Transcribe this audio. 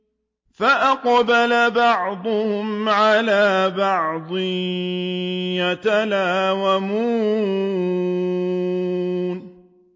فَأَقْبَلَ بَعْضُهُمْ عَلَىٰ بَعْضٍ يَتَلَاوَمُونَ